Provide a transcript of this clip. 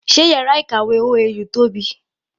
Sé yàrá ìkàwé OAU tóbi?